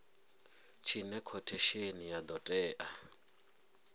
tshine khothesheni ya do tea